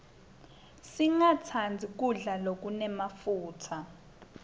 singastandzi kudla lokunemafutsa